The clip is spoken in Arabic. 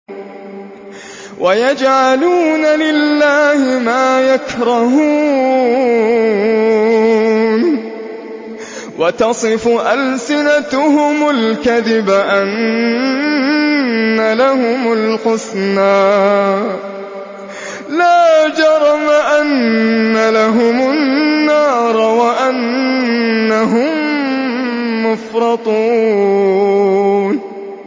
وَيَجْعَلُونَ لِلَّهِ مَا يَكْرَهُونَ وَتَصِفُ أَلْسِنَتُهُمُ الْكَذِبَ أَنَّ لَهُمُ الْحُسْنَىٰ ۖ لَا جَرَمَ أَنَّ لَهُمُ النَّارَ وَأَنَّهُم مُّفْرَطُونَ